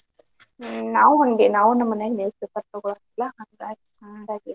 ಹ್ಮ್ ನಾವು ಹಂಗೆ ನಾವು ನಮ್ಮ್ ಮನೇಲಿ newspaper ತಗೋಳುದಿಲ್ಲಾ ಹಾಂಗಾಗಿ